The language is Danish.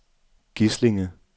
Gislinge